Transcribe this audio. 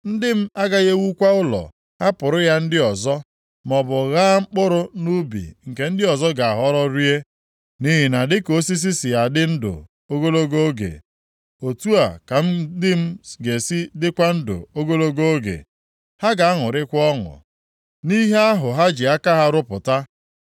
Ndị m agaghị ewukwa ụlọ hapụrụ ya ndị ọzọ, maọbụ ghaa mkpụrụ nʼubi nke ndị ọzọ ga-aghọrọ rie. Nʼihi na dịka osisi si adị ndụ ogologo oge otu a ka ndị m ga-esi dịkwa ndụ ogologo oge. Ha ga-aṅụrịkwa ọṅụ nʼihe ahụ ha ji aka ha rụpụta.